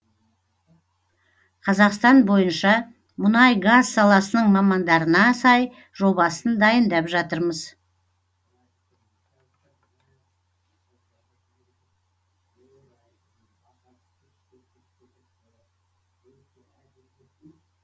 қазақстан бойынша мұнай газ саласының мамандарына сай жобасын дайындап жатырмыз